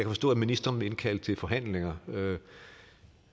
forstå at ministeren vil indkalde til forhandlinger